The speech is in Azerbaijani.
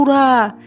Ura!